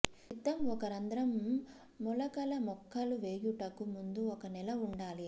సిద్ధం ఒక రంధ్రం మొలకల మొక్కలు వేయుటకు ముందు ఒక నెల ఉండాలి